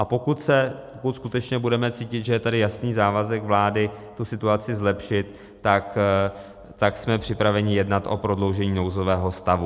A pokud skutečně budeme cítit, že je tady jasný závazek vlády tu situaci zlepšit, tak jsme připraveni jednat o prodloužení nouzového stavu.